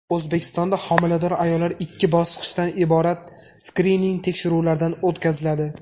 O‘zbekistonda homilador ayollar ikki bosqichdan iborat skrining tekshiruvlaridan o‘tkaziladi.